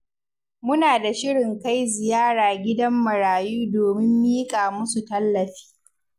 Muna da shirin kai ziyara gidan marayu domin miƙa musu tallafi.